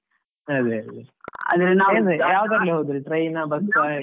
ಅದೇ ಅದೇ ಯಾವುದ್ರಲ್ಲಿ ಹೋದ್ರಿ train ಆ bus ಆ?